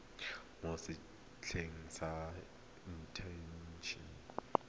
mo setsheng sa inthanete sa